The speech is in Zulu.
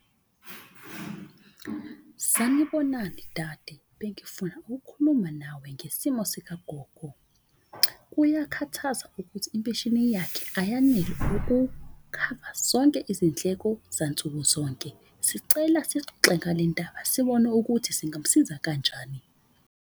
Sanibonani dade, bengifuna ukhuluma nawe ngesimo sikagogo. Kuyakhathaza ukuthi impesheni yakhe ayanele ukukhava zonke izindleko zansukuzonke. Sicela sixoxe ngale ndaba, sibone ukuthi singamusiza kanjani.